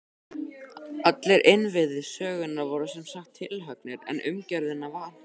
Allir innviðir sögunnar voru sem sagt tilhöggnir, en umgjörðina vantaði.